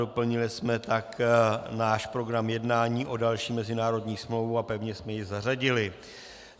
Doplnili jsme tak náš program jednání o další mezinárodní smlouvu a pevně jsme ji zařadili.